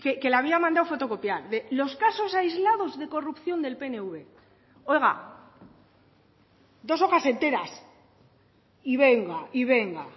que la había mandado fotocopiar los casos aislados de corrupción del pnv oiga dos hojas enteras y venga y venga